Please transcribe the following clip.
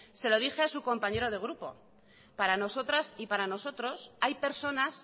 se lo dije a su compañero de grupo para nosotras y para nosotros hay personas